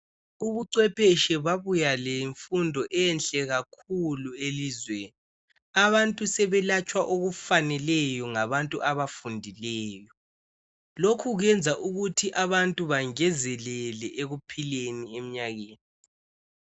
Ubuchwepheshe babuya lemfundo enhle kakhulu elizweni. Abantu sebelatshwa okufaneleyo ngabantu abafundileyo. Lokhu kuyenza ukuthi abantu bangezelele ekuphileni emnyakeni.